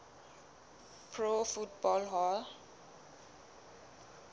pro football hall